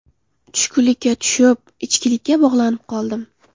Tushkunlikka tushib, ichkilikka bog‘lanib qoldim.